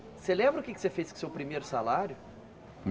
Você lembra o que é que você fez com o seu primeiro salário?